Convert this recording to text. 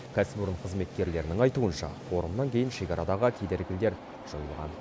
кәсіпорын қызметкерлерінің айтуынша форумнан кейін шекарадағы кедергілер жойылған